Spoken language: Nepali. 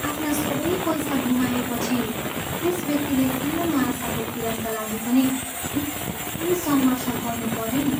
आफ्ना सबै पैसा गुमाएपछि त्यस व्यक्तिले सानो आशाको किरणका लागि पनि निकै सङ्घर्ष गर्नु पऱ्यो नि।